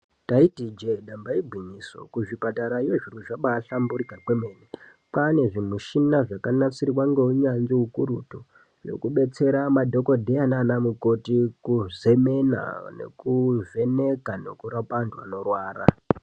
Taiti ijeke nyamba igwinyiso kuzvipatarayo zvinhu zvabaahlamburika kwemene. Kwaane zvimishina zvakanasirwa ngeunyanzvi ukurutu hwekubetsera madhokodheya nanamukoti kuzemena, kurapa nekuvheneka nekurapa anhu vanorwara.